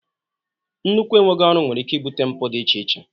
Nnukwu enweghị ọrụ nwere ike ibute mpụ dị iche iche